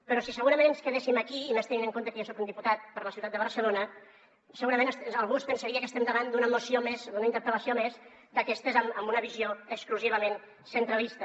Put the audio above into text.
però si segurament ens quedéssim aquí i més tenint en compte que jo soc un diputat per la ciutat de barcelona segurament algú es pensaria que estem davant d’una moció més d’una interpel·lació més d’aquestes amb una visió exclusivament centralista